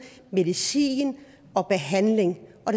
medicin og behandling og